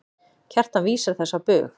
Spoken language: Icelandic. Kjartan vísar þessu á bug.